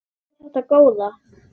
Hvað er þetta góða!